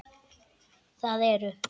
Það eru